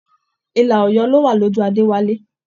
Ilà Ọ̀yọ́ ló wa lójú Adéwálé.